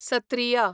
Sattriya